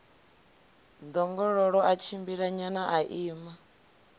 ḓongololo ḽa tshimbilanyana ḽa ima